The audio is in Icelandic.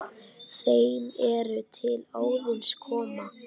þeim er til Óðins koma